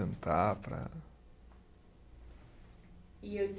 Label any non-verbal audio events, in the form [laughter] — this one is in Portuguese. para. E [unintelligible]